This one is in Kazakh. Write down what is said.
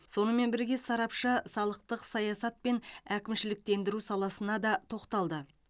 сонымен бірге сарапшы салықтық саясат пен әкімшіліктендіру саласына да тоқталды